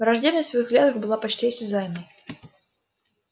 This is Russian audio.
враждебность в их взглядах была почти осязаемой